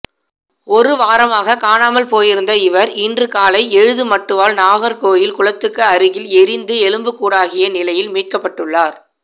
ஒரு வாரமாக காணாமல் போயிருந்த இவா் இன்று காலை எழுதுமட்டுவாள் நாகா்கோயில் குளத்துக்கு அருகில் எரிந்து எலும்புக்கூடாகிய நிலையில் மீட்கப்பட்டுள்ளாா்